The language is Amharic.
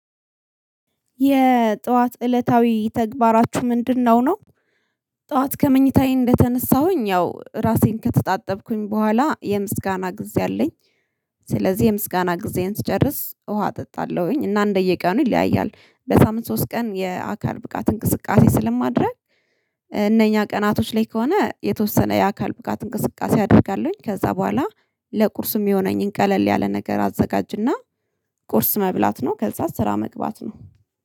የጠዋት እለታዊ ተግባራችሁ ምንድነው ነው? ጠዋት ከመኝታዬ እንደተነሳሁኝ ያው ራሴን ከተጣጠብኩኝ በኋላ የምስጋና ጊዜ አለኝ። ስለዚህ የምስጋና ጊዜን ስጨርስ ውሃ እጠጣለሁኝ እና እንደየቀኑ ይለያያል በሳምንት ሶስት ቀን የአካል ብቃት እንቅስቃሴ ስለማድረግ እነኛ ቀናቶች ላይ ከሆነ የተወሰነ የአካል ብቃት እንቅስቃሴ አድርጋለሁኝ ከዛ በኋላ ለቁርስ ሚሆነኝን ቀለል ያለ ነገር አዘጋጅና ቁርስ መብላት ነው፤ ከዛ ስራ መግባት ነው።